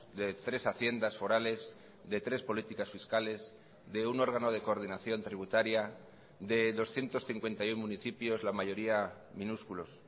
de tres haciendas forales de tres políticas fiscales de un órgano de coordinación tributaria de doscientos cincuenta y uno municipios la mayoría minúsculos